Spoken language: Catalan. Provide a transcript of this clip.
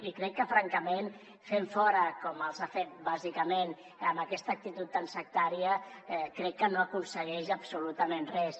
i crec que francament fent los fora com ha fet bàsicament amb aquesta actitud tan sectària crec que no aconsegueix absolutament res